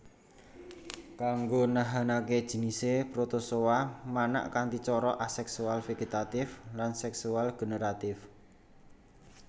Kanggo nahanaké jinisé Protozoa manak kanthi cara aseksual vegetatif lan seksual generatif